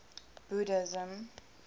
buddhism